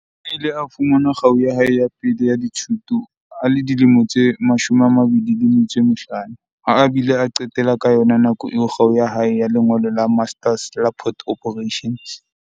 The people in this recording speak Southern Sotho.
O ile a fumana kgau ya hae ya pele ya dithuto a le dilemo tse 25, ha a bile a qetela ka yona nako eo kgau ya hae ya lengolo la Master's la Port Operations.